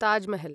Taj Mahal